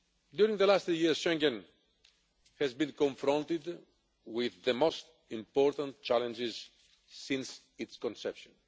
During the last three years Schengen has been confronted with the most important challenges since its conception.